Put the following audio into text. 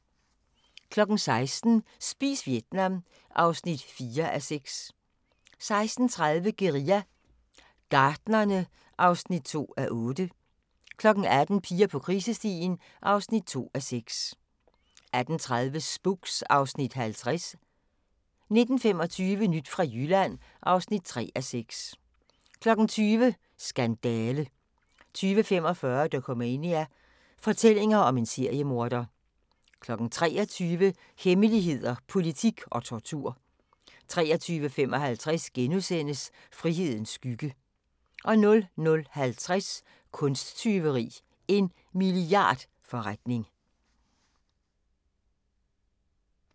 16:00: Spis Vietnam (4:6) 16:30: Guerilla Gartnerne (2:8) 18:00: Piger på krisestien (2:6) 18:30: Spooks (Afs. 50) 19:25: Nyt fra Jylland (3:6) 20:00: Skandale 20:45: Dokumania: Fortællinger om en seriemorder 23:00: Hemmeligheder, politik og tortur 23:55: Frihedens skygge * 00:50: Kunsttyveri – en milliardforretning